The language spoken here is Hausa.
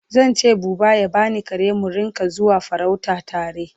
Zan ce buba ya bani kare mu Rinka zuwa farauta tare